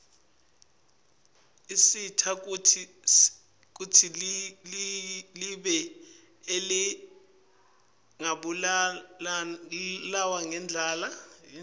usita kutsi live lingabulawa yindlala